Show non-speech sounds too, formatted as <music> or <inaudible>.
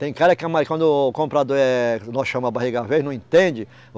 Tem cara que é <unintelligible> quando o comprador é, nós chama a barriga velha, não entende.